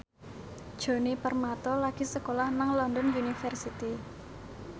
Djoni Permato lagi sekolah nang London University